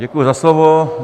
Děkuji za slovo.